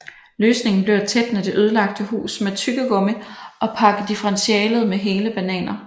Løsningen blev at tætne det ødelagte hus med tyggegummi og pakke differentialet med hele bananer